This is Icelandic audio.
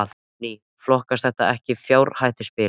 Guðný: Flokkast þetta ekki sem fjárhættuspil?